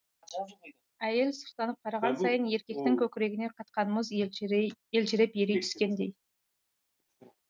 әйел сұқтанып қараған сайын еркектің көкірегіне қатқан мұз елжіреп ери түскендей